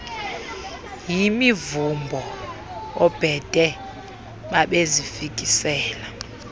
yimivumbo oobhede babezifikisela